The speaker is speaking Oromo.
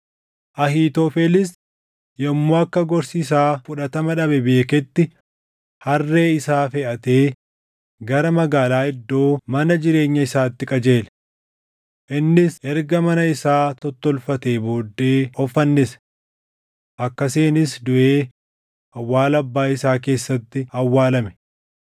Ahiitofelis yommuu akka gorsi isaa fudhatama dhabe beeketti harree isaa feʼatee gara magaalaa iddoo mana jireenya isaatti qajeele. Innis erga mana isaa tottolfatee booddee of fannise. Akkasiinis duʼee awwaala abbaa isaa keessatti awwaalame.